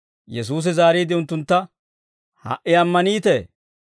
Yesuusi zaariide unttuntta, «Ha"i ammaniitee?